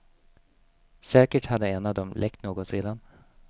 Säkert hade en av dem läckt något redan.